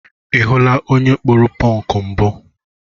Ị hụla onye kpụrụ pọnk mbụ?